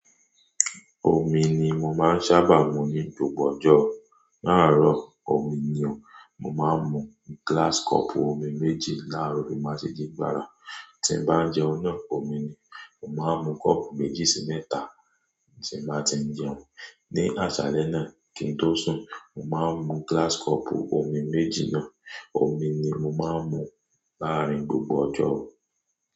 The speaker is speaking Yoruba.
Omi ni mo máa ń sábà mu ní gbogbo ọjọ́. Lárọ̀ omi ni o. Mo máà ń mu gíláásì kọ́ọ̀pù omi méjì láàárọ̀ bí mo bá ṣe ji gbàrà. Tí n bá ń jẹun náà, omi ni. Mo máa ń mu kọ́ọ̀pù méjì sí mẹ́ta tí n báa ti ń jẹun. Ni àsálẹ́ náà kí n tó sùn, mo máa ń mu gíláásì kọ́ọ̀pù omi méjì náà. Omi ni mo máa ń mu láàárín gbogbo ọjọ́